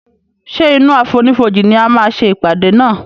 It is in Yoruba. ṣe inú àfonífojì ní a má ṣe ìpàdé nà.